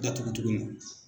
datugu tuguni.